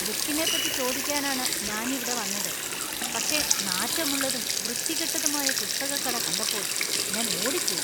ബുക്കിനെപ്പറ്റി ചോദിക്കാനാണ് ഞാൻ ഇവിടെ വന്നത്, പക്ഷേ നാറ്റമുള്ളതും വൃത്തികെട്ടതുമായ പുസ്തകക്കട കണ്ടപ്പോൾ ഞാൻ ഓടിപ്പോയി.